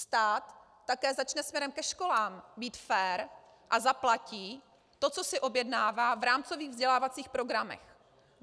Stát také začne směrem ke školám být fér a zaplatí to, co si objednává v rámcových vzdělávacích programech.